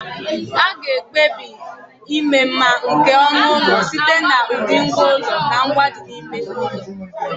A ga-ekpebi ịma mma nke onu ụlọ site n'ụdị ngwá ụlọ na ngwa ndị dị n'ime ụlọ.